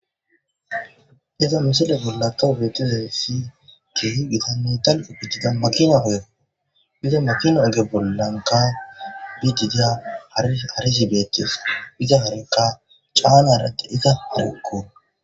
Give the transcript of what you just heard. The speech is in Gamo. Iza misile bollakawhubeetidensi keehi gitanne talfo biidida makina ogeo biza makina oge bollanka bidida harisibeetes biza harekka caanaratti iza habukko.